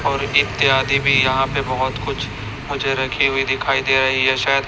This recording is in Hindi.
और इत्यादि भी यहां पे बहोत कुछ मुझे रखी हुई दिखाई दे रही है।